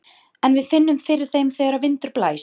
En við finnum fyrir þeim þegar vindur blæs.